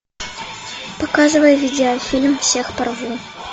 показывай видеофильм всех порву